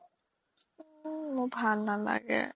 ও মোৰ ভাল নালাগে